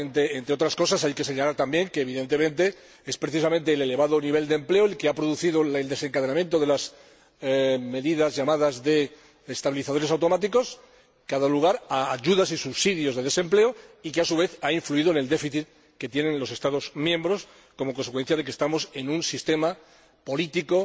Entre otras cosas, hay que señalar también que, evidentemente, es precisamente el elevado nivel de empleo el que ha producido el desencadenamiento de las medidas llamadas estabilizadores automáticos, que ha dado lugar a ayudas y subsidios de desempleo y que, a su vez, ha influido en el déficit que tienen los Estados miembros como consecuencia de nuestro sistema político